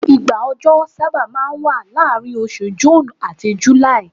igba ọjọ saba ma n wa laarin osù June ati July